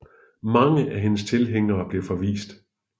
Mange af hendes tilhængere blev forvist